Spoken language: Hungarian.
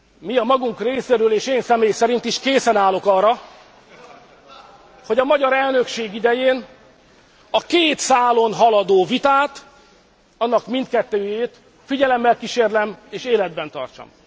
Mi a magunk részéről, és én személy szerint is készen állok arra, hogy a magyar elnökség idején, a két szálon haladó vitát, annak mindkettőjét figyelemmel kísérlem és életben tartsam.